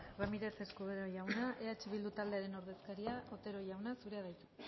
ramírez escudero jauna eh bildu taldearen ordezkaria otero jauna zurea da hitza